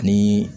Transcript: Ni